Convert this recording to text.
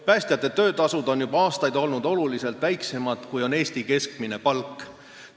Päästjate töötasud on juba aastaid olnud kõvasti väiksemad, kui on Eesti keskmine palk.